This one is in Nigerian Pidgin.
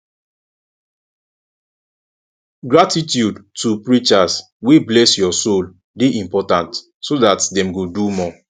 gratitude to preachers wey bless your soul de important so that dem go do more